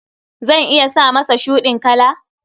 Zan iya sa masa shuɗin kala.